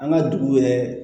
An ka dugu yɛrɛ